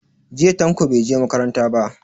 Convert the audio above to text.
Jiya Tanko bai je makaranta ba.